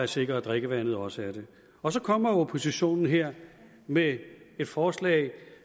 sikre at drikkevandet også er det og så kommer oppositionen her med et forslag